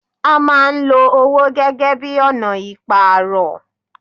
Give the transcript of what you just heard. A máa ń lo owó gẹ́gẹ́ bíi ọ̀nà ìpàrọ̀.